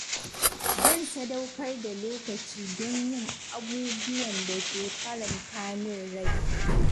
Zan sadaukar da lokaci don yin abubuwan da ke faranta min rai.